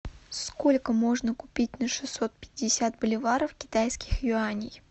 сколько можно купить на шестьсот пятьдесят боливаров китайских юаней